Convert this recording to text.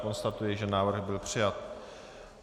Konstatuji, že návrh byl přijat.